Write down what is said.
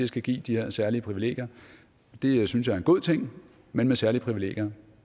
skal give de her særlige privilegier det synes jeg er en god ting men med særlige privilegier